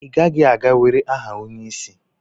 i gaghi-aga were aha onye-isi?